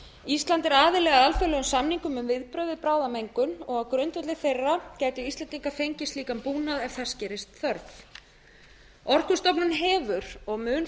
ísland er aðili að alþjóðlegum samningum um viðbrögð við bráðamengun á grundvelli þeirra gætu íslendingar fengið slíkan búnað ef þess gerist þörf orkustofnun hefur og mun